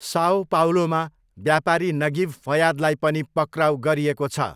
Sao पाउलोमा व्यापारी Nagib फयादलाई पनि पक्राउ गरिएको छ।